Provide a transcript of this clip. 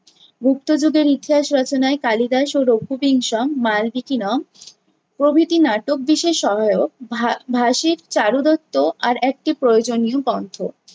গুপ্তযুগের ইতিহাস রচনায় কালিদাস ও , প্রভৃতি নাটক বিশেষ সহায়ক। ভা~ ভাষিক চারুদত্ত আর একটু প্রয়োজনীয় গন্থ।